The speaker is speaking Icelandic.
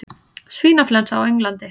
Svínaflensa á Englandi